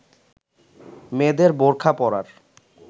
মেয়েদের বোরখা পরার